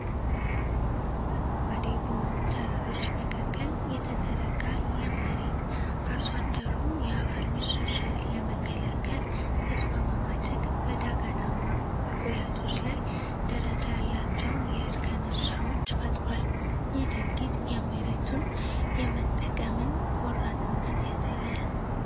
ጥቁር አረንጓዴ በሆኑ ተራሮች መካከል የተዘረጋ ለም መሬት፣ አርሶ አደሩ የአፈር መሸርሸርን ለመከላከል ተስፋ በማድረግ፣ በዳገታማ ቁልቁለቶች ላይ ደረጃ ያላቸውን የእርከን እርሻዎች ፈጥሯል። ይህ ድርጊት የመሬቱን የመጠቀምን ቆራጥነት ያሳያል።